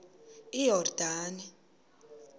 iyordane